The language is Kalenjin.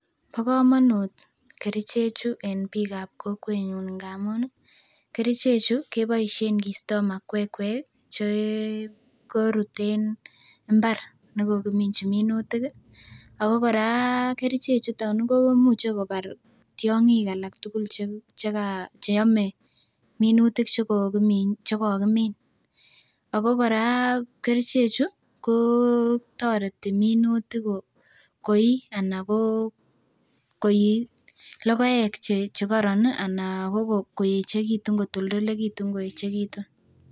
Bo komonut kerichek chu en biik ab kokwet nyun ngamun ih kerichek chu keboisien kistoo makwekkwek che korut en mbar nekokiminji minutik ih ako kora kerichek chuton ih komuche kobar tiong'ik alak tugul cheka cheome minutik chekokimin. Ako kora kerichek chu kotoreti minutik koii anan ko koii logoek chekoron anan koeechekitun kotoltolekitun koeechekitun.